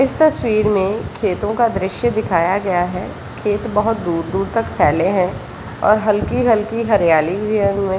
इस तस्वीर में खेतो का दृश्य दिखाया गया है खेत बहुत दूर दूर तक फैले है और हलकी हलकी हरयाली भी है उनमे ।